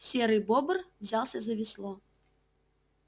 серый бобр взялся за весло